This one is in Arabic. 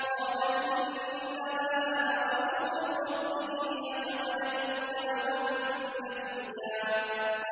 قَالَ إِنَّمَا أَنَا رَسُولُ رَبِّكِ لِأَهَبَ لَكِ غُلَامًا زَكِيًّا